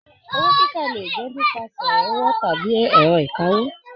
Owó kíkà lè jẹ nípasẹ̀ ọwọ tàbí ẹrọ ìkáwó.